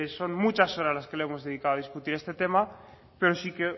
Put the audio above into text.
son muchas horas las que hemos dedicado a discutir este tema pero sí que